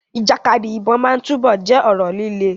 Ìjàkadì ìbọn máa túbọ̀ jẹ́ ọ̀rọ̀ líle.